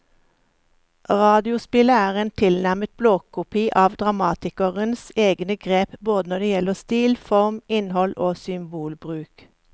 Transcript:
Radiospillet er en tilnærmet blåkopi av dramatikerens egne grep både når det gjelder stil, form, innhold og symbolbruk.